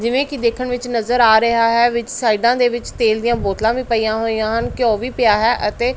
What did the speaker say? ਜਿਵੇਂ ਕੀ ਦੇਖਣ ਵਿੱਚ ਨਜ਼ਰ ਆ ਰਿਹਾ ਹੈ ਵਿੱਚ ਸਾਈਡਾਂ ਦੇ ਵਿੱਚ ਤੇਲ ਦੀਆਂ ਬੋਤਲਾਂ ਵੀ ਪਈਆਂ ਹੋਈਆਂ ਹਨ ਘਿਓ ਵੀ ਪਿਆ ਹੈ ਅਤੇ--